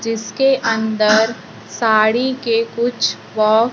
जिसके अंदर साड़ी के कुछ बा--